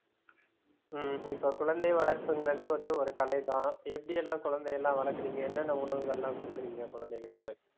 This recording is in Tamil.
ஹம் இப்ப குழந்தை வளர்ப்புங்றது வந்து ஒரு கலை தான் எப்படியெல்லாம் குழந்தையெல்லாம் வளக்குறீங்க என்னென்ன உணவுகள்லாம் கொடுக்கறீங்க குழந்தைகளுக்கு?